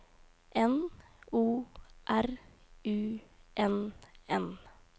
N O R U N N